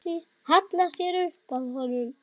Hallar sér upp að honum.